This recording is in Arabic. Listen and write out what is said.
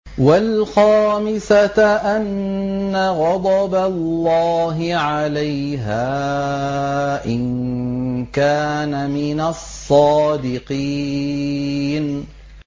وَالْخَامِسَةَ أَنَّ غَضَبَ اللَّهِ عَلَيْهَا إِن كَانَ مِنَ الصَّادِقِينَ